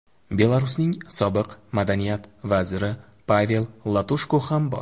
Belarusning sobiq Madaniyat vaziri Pavel Latushko ham bor.